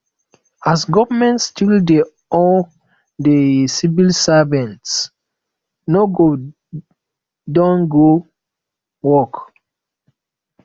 as government still dey owe the civil servants nobody don go work